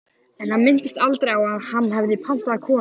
En hann minntist aldrei á að hann hefði pantað konu.